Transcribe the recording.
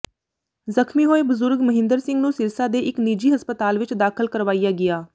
ਜ਼ਖ਼ਮੀ ਹੋਏ ਬਜ਼ੁਰਗ ਮਹਿੰਦਰ ਸਿੰਘ ਨੂੰ ਸਿਰਸਾ ਦੇ ਇੱਕ ਨਿੱਜੀ ਹਸਪਤਾਲ ਵਿੱਚ ਦਾਖ਼ਲ ਕਰਵਾਇਆ ਗਿਆ